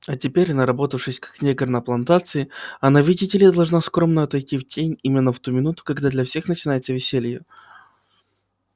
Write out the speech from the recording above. а теперь наработавшись как негр на плантации она видите ли должна скромно отойти в тень именно в ту минуту когда для всех начинается веселье